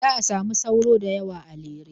Za a samu sauro da yawa a Lere.